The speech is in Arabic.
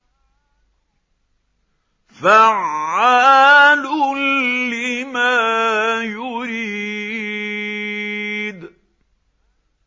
فَعَّالٌ لِّمَا يُرِيدُ